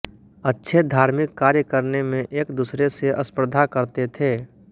अच्छे धार्मिक कार्य करने में एक दूसरे से स्पर्धा करते थे